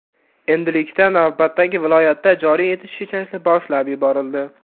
Endilikda navbatdagi viloyatda joriy etish ishlari boshlab yuborildi.